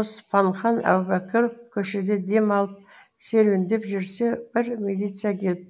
оспанхан әубәкіров көшеде дем алып серуендеп жүрсе бір милиция келіп